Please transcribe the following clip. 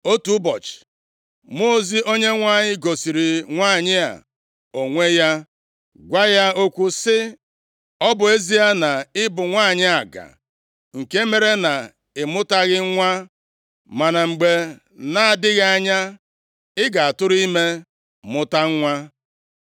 Otu ụbọchị, mmụọ ozi Onyenwe anyị gosiri nwanyị a onwe ya, gwa ya okwu sị, “Ọ bụ ezie na ị bụ nwanyị aga nke mere na ị mụtaghị nwa ma na mgbe na-adịghị anya, ị ga-atụrụ ime mụta nwa.